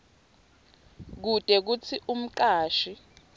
kute kutsi umcashi